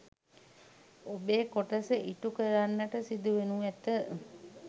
ඔබේ කොටස ඉටු කරන්නට සිදු වෙනු ඇත